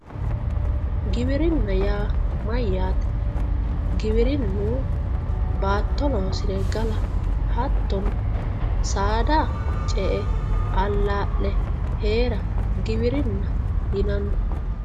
giwirinna yaa mayyate giwirinnu baatto loosire gala hattono saada ce''e allaa'le heera giwirinna yinanni.